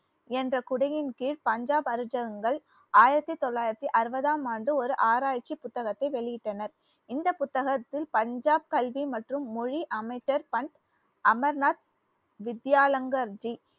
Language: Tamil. என்ற கொடியின் கீழ் பஞ்சாப் அரிச்சகங்கள் ஆயிரத்தி தொள்ளாயிரத்தி அறுபதாம் ஆண்டு ஒரு ஆராய்ச்சி புத்தகத்தை வெளியிட்டனர் இந்த புத்தகத்தில் பஞ்சாப் கல்வி மற்றும் மொழி அமைச்சர் பந்த் அமர்நாத் வித்யாலங்கர்ஜி